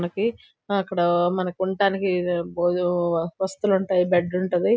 మనకి ఆ మనుకుంటానికి అక్కడ భోజన వస్తులుంటాయి.బెడ్ ఉంటది.